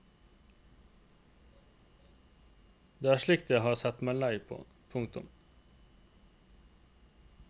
Det er slikt jeg har sett meg lei på. punktum